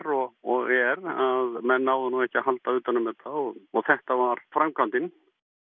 og og er menn náðu ekki að halda utan um og þetta var framkvæmdin